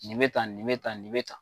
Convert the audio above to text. Nin bɛ tan nin bɛ tan nin bɛ tan.